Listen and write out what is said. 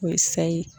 O ye sa ye